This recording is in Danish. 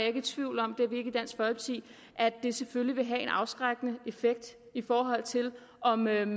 ikke i tvivl om at det selvfølgelig vil have en afskrækkende effekt i forhold til om man